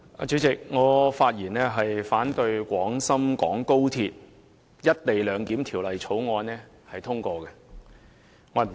主席，我發言反對《廣深港高鐵條例草案》獲得通過。